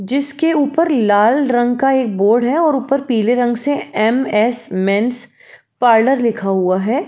जिस के ऊपर लाल रंग का एक बोर्ड है और ऊपर पीले रंग से म स मेंस पार्लर लिखा हुआ है।